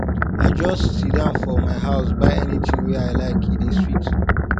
i go just siddon for my house buy anytin wey i like e dey sweet